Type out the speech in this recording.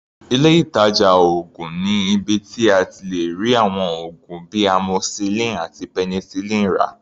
Ilé ìtàjà oògùn ni ibi tí a ti lè rí àwọn oògùn bíi Amoxicillin àti Penicillin rà.